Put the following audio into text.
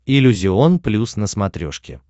иллюзион плюс на смотрешке